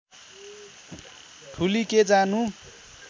ठूली के जानु